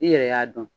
I yɛrɛ y'a dɔn